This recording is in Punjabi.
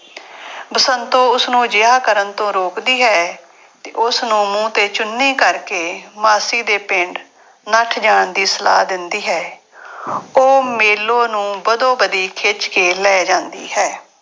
ਬਸੰਤੋ ਉਸਨੂੰ ਅਜਿਹਾ ਕਰਨ ਤੋਂ ਰੋਕਦੀ ਹੈ ਤੇ ਉਸਨੂੰ ਮੂੰਹ ਤੇ ਚੁੰਨੀ ਕਰਕੇ ਮਾਸੀ ਦੇ ਪਿੰਡ ਨੱਠ ਜਾਣ ਦੀ ਸਲਾਹ ਦਿੰਦੀ ਹੈ ਉਹ ਮੇਲੋ ਨੂੰ ਵਧੋ ਵਧੀ ਖਿਚ ਕੇ ਲੈ ਜਾਂਦੀ ਹੈ।